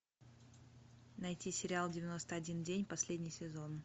найти сериал девяносто один день последний сезон